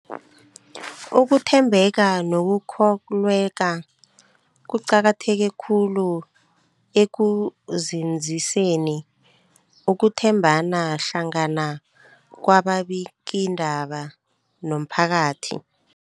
Ukuthembeka nokukholweka kuqakatheke khulu ekunzinziseni ukuthembana hlangana kwababikiindaba nomphakathi.